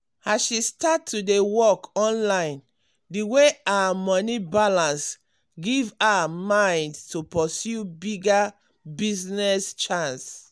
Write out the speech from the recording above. as she start to dey work online the way her moni balance give her mind to pursue bigger business chance